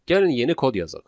Gəlin yeni kod yazaq.